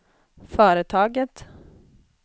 företaget